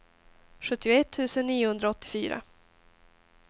sjuttioett tusen niohundraåttiofyra